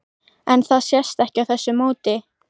En það sést ekki á þessu móti?